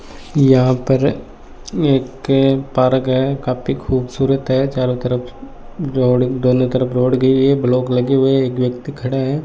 यहां पर एक पारक है काफी खूबसूरत है चारों तरफ जोड़ दोनों तरफ रोड गई है ब्लॉक लगे हुए एक व्यक्ति खड़े हैं।